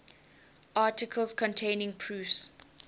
articles containing proofs